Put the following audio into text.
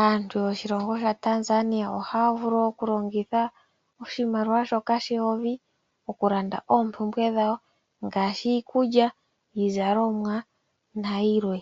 Aantu yoshilongo shaTanzania ohaya vulu okulongitha oshimaliwa shoka sheyovi oku landa oompumbwe dhawo ngaashi iikulya, iizalomwa nayilwe.